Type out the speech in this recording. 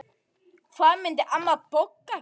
Hvað myndi amma Bogga gera?